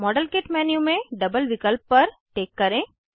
model kit menu में double विकल्प पर टिक करें